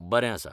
बरें आसा.